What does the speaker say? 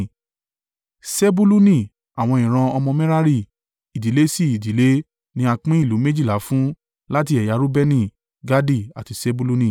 Sebuluni àwọn ìran ọmọ Merari, ìdílé sí ìdílé, ní a pín ìlú méjìlá fún láti ẹ̀yà Reubeni, Gadi àti Sebuluni.